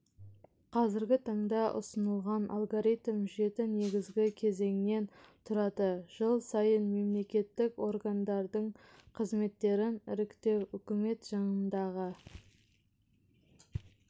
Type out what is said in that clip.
қазіргі таңда ұсынылған алгоритм жеті негізгі кезеңнен тұрады жыл сайын мемлекеттік органдардың қызметтерін іріктеу үкімет жанындағы